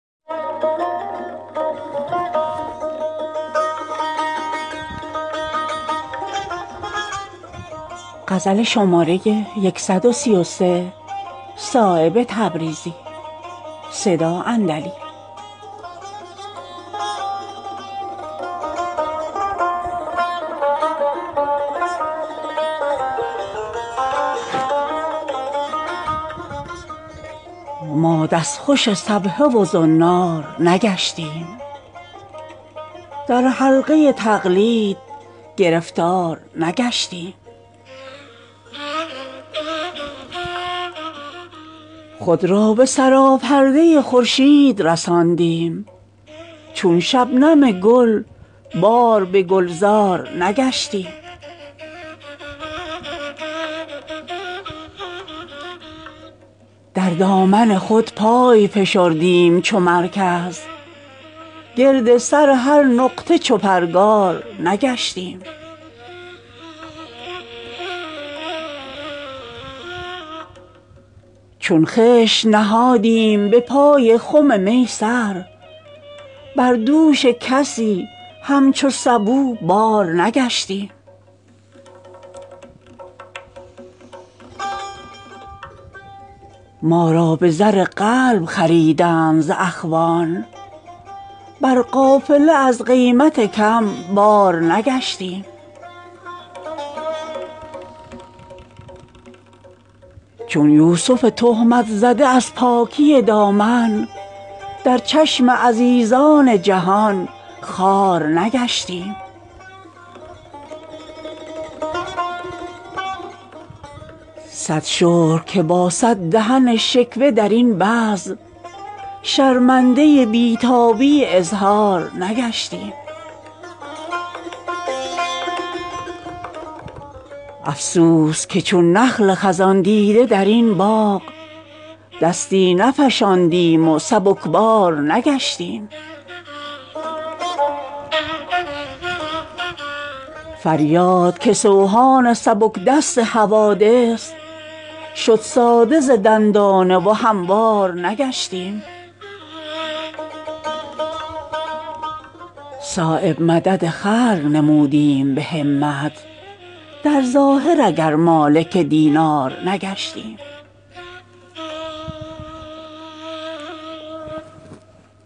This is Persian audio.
سخن عشق محال است مکرر گردد بحر در هر نفسی عالم دیگر گردد سخن عشق به تکرار ندارد حاجت کی تهی حوصله بحر ز گوهر گردد از جنون حرف مکرر نه شنیده است کسی حرف عقل است که نشنیده مکرر گردد نظر پیر مغان گرمتر از خورشیدست چه غم از باده اگر دامن ما تر گردد کفر نعمت بود از جنت اگر یاد کند دیدن روی تو آن را که میسر گردد پله حسن به تمکین ز تماشایی شد یوسف از جوش خریدار به لنگر گردد نفس آن روز برآرم به خوشی از ته دل که دل سوخته در بزم تو مجمر گردد به زر قلب ز اخوان نخرد یوسف را از تماشای تو چشمی که توانگر گردد گر به میخانه مرا جاذبه پیر مغان از کرم راهنما نوبت دیگر گردد دست وقتی کنم از گردن مینا کوتاه که مرا طوق گریبان خط ساغر گردد می پرد دیده امید دو عالم صایب تا که را دولت دیدار میسر گردد